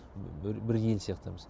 бір ел сияқтымыз